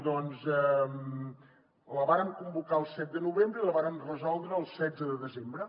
doncs la vàrem convocar el set de novembre i la vàrem resoldre el setze de desembre